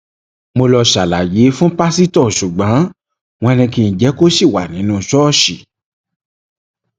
mo lọọ ṣàlàyé fún pásítọ ṣùgbọn wọn ní kí n jẹ kó ṣì wà nínú ṣọọṣì